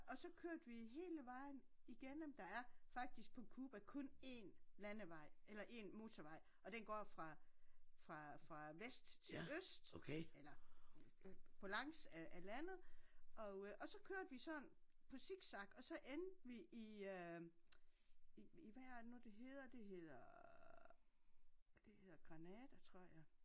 Og så kørte vi hele vejen igennem. Der er faktisk på Cuba kun én landevej eller én motorvej og den går fra fra fra vest til øst eller på langs af af landet og øh så kørte vi sådan på zigzag og så endte vi i øh i hvad er det nu det hedder det hedder det hedder Granada tror jeg